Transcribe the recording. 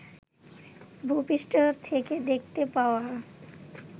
ভূপৃষ্ঠ থেকে দেখতে পাওয়া